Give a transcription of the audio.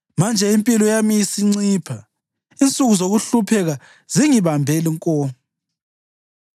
Manje impilo yami isincipha; insuku zokuhlupheka zingibambe nko.